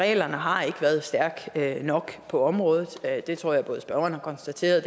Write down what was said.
af reglerne har ikke været stærk nok på området det tror jeg spørgeren har konstateret